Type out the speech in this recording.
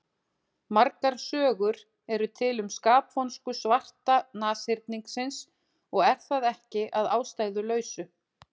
Margar sögur eru til um skapvonsku svarta nashyrningsins og er það ekki að ástæðulausu.